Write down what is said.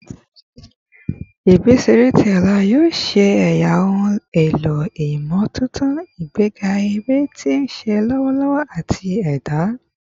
Ibi-iṣere ti ọla yoo ṣe ẹya ohun elo imotuntun, igbega ere ti nṣiṣe lọwọ ati ẹda